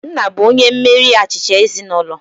Nna bụ onye mmeri achịcha ezinaụlọ